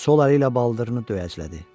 Sol əli ilə baldırını döyəclədi.